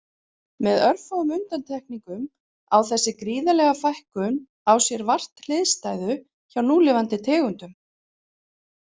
Með örfáum undantekningum á þessi gríðarlega fækkun á sér vart hliðstæðu hjá núlifandi tegundum.